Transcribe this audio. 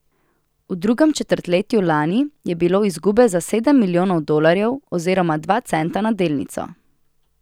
V drugem četrtletju lani je bilo izgube za sedem milijonov dolarjev oziroma dva centa na delnico.